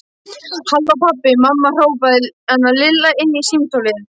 Halló pabbi, mamma hrópaði Lilla inn í símtólið.